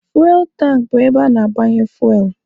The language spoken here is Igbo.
Fuwel tankị bụ ebe ana-agbanye fuwel.